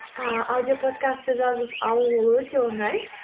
ыыы аудиоподкастты жазып алу ол өте оңай